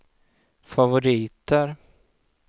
favoriter